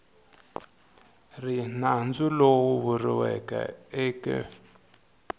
ri nandzu lowu vuriweke eke